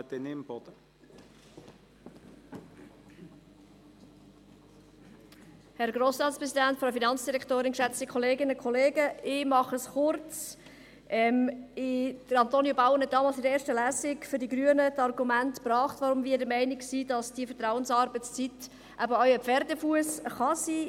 Antonio Bauen führte damals in der ersten Lesung die Argumente an, weshalb wir Grüne der Meinung sind, dass die Vertrauensarbeitszeit eben auch ein Pferdefuss sein kann.